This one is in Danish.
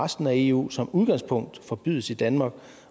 resten af eu som udgangspunkt forbydes i danmark